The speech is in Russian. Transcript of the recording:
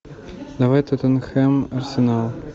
давай тоттенхэм арсенал